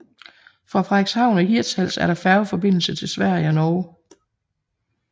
Fra Frederikshavn og Hirtshals er der færgeforbindelse til Sverige og Norge